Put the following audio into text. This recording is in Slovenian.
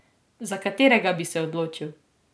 Za katerega bi se odločil?